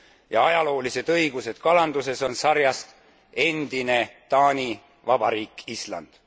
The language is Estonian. ja ajaloolised õigused kalanduses on sarjast endine Taani Vabariik Island.